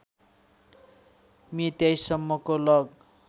मे २३ सम्मको लग